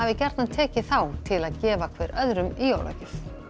gjarnan tekið þá til að gefa hver öðrum í jólagjöf